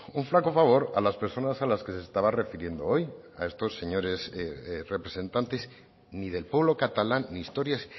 un flaco favor a las personas a las que se estaba refiriendo hoy a estos señores representantes ni del pueblo catalán ni historias